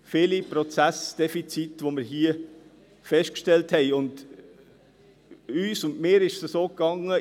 Es sind viele Prozessdefizite, die wir hier festgestellt haben – und uns und mir ist es so ergangen: